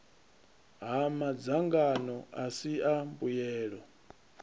ha madzangano asi a mbuyelo